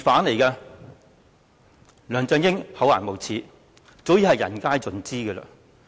梁振英厚顏無耻早已人盡皆知。